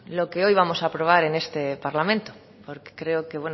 lo que hoy vamos a aprobar en este parlamento porque creo que